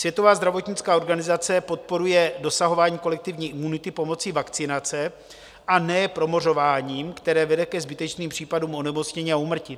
Světová zdravotnická organizace podporuje dosahování kolektivní imunity pomocí vakcinace, a ne promořováním, které vede ke zbytečným případům onemocnění a úmrtí.